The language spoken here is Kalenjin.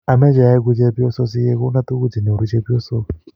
Ameche aeku chepyoso si kikonon tukuk che nyoru chepyoso.